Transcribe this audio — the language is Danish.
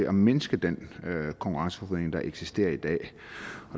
at mindske den konkurrenceforvridning der eksisterer i dag